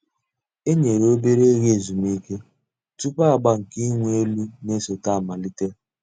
E nyèrè òbèrè ògè èzùmìké túpù àgbà nke ị̀wụ̀ èlù nà-èsọ̀té àmàlítè.